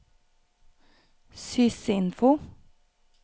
sysinfo